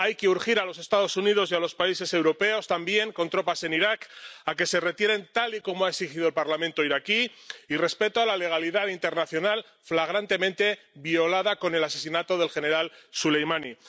Hay que urgir a los Estados Unidos y a los países europeos que también tienen tropas en Irak a que se retiren, tal y como ha exigido el Parlamento iraquí, y pedir respeto a la legalidad internacional, flagrantemente violada con el asesinato del general Soleimani.